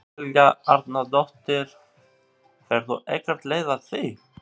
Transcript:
Helga Arnardóttir: Færðu ekkert leið á því?